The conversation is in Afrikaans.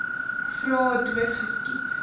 vra dood geskiet